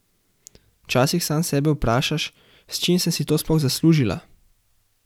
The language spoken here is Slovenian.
Včasih sam sebe vprašaš, s čim sem si to sploh zaslužila?